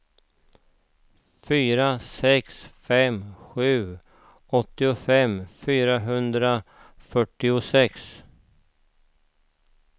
fyra sex fem sju åttiofem fyrahundrafyrtiosex